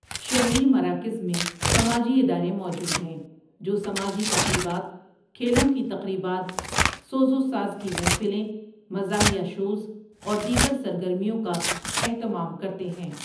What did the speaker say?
شہری مراکز میں سماجی ادارے موجود ہیں جو سماجی تقریبات، کھیلوں کی تقریبات، سوز و ساز کی محفلیں، مزَاحیہ شوز اور دیگر سرگرمیوں کا اہتمام کرتے ہیں۔